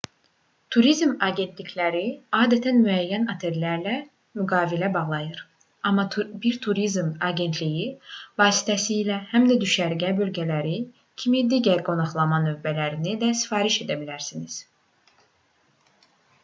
turizm agentlikləri adətən müəyyən otellərlə müqavilələr bağlayır amma bir turizm agentliyi vasitəsilə həm də düşərgə bölgələri kimi digər qonaqlama növlərini də sifariş edə bilərsiniz